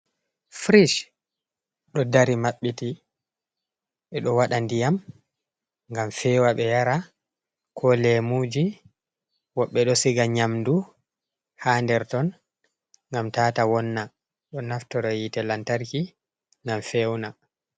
Firiic ɗo dari maɓɓiti, ɓe ɗo waɗa ndiyam, ngam feewa ɓe yara, ko leemuuji, woɓɓe ɗo siga nyamdu haa nder ton, ngam tata wonna, ɗo naftoro yiite lantarki, ngam fewna.